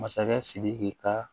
Masakɛ sidiki ka